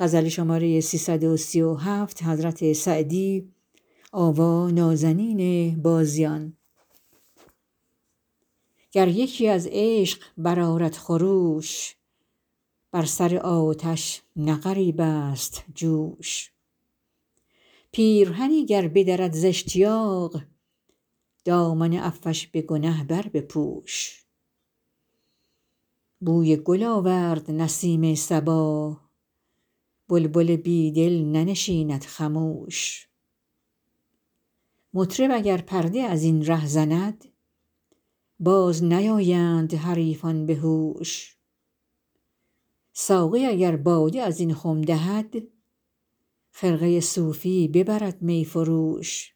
گر یکی از عشق برآرد خروش بر سر آتش نه غریب است جوش پیرهنی گر بدرد زاشتیاق دامن عفوش به گنه بربپوش بوی گل آورد نسیم صبا بلبل بی دل ننشیند خموش مطرب اگر پرده از این ره زند باز نیایند حریفان به هوش ساقی اگر باده از این خم دهد خرقه صوفی ببرد می فروش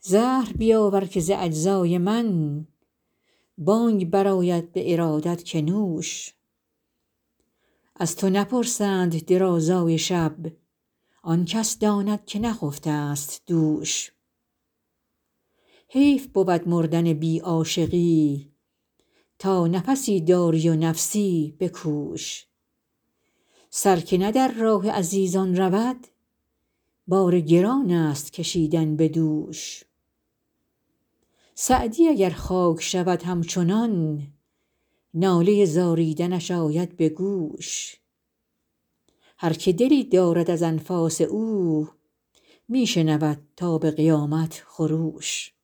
زهر بیاور که ز اجزای من بانگ برآید به ارادت که نوش از تو نپرسند درازای شب آن کس داند که نخفته ست دوش حیف بود مردن بی عاشقی تا نفسی داری و نفسی بکوش سر که نه در راه عزیزان رود بار گران است کشیدن به دوش سعدی اگر خاک شود همچنان ناله زاریدنش آید به گوش هر که دلی دارد از انفاس او می شنود تا به قیامت خروش